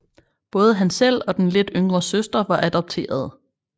Både han selv og den lidt yngre søster var adopterede